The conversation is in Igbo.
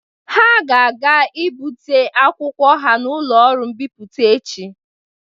Ha ga-aga ibute akwụkwọ ha n'ụlọ Oọụ mbipụta echi.